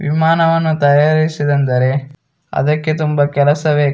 ವಿಮಾನವನ್ನು ತಯಾರಿಸಿದೆಂದರೆ ಅದಕ್ಕೆ ತುಂಬಾ ಕೆಲಸ ಬೇಕು --